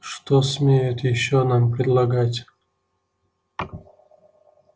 что смеет ещё нам предлагать